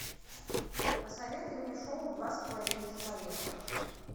посоветуй мне шоу два с половиной человека